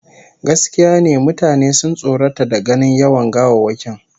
Gaskiya ne, mutane sun tsorata da ganin yawan gawawwakin